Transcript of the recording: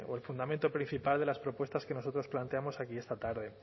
de o el fundamento principal de las propuestas que nosotros planteamos aquí esta tarde